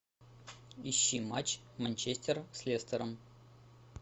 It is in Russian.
ищи матч манчестера с лестером